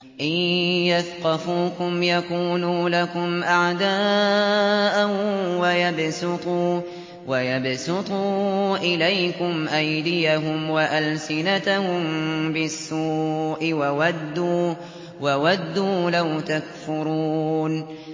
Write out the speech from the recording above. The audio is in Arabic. إِن يَثْقَفُوكُمْ يَكُونُوا لَكُمْ أَعْدَاءً وَيَبْسُطُوا إِلَيْكُمْ أَيْدِيَهُمْ وَأَلْسِنَتَهُم بِالسُّوءِ وَوَدُّوا لَوْ تَكْفُرُونَ